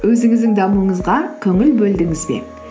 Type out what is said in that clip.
өзіңіздің дамуыңызға көңіл бөлдіңіз бе